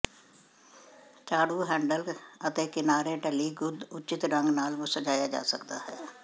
ਝਾੜੂ ਹੈਡਲ ਅਤੇ ਕਿਨਾਰੇ ਢਲੀ ਗੁੰਦ ਉੱਚਿਤ ਰੰਗ ਨਾਲ ਸਜਾਇਆ ਜਾ ਸਕਦਾ ਹੈ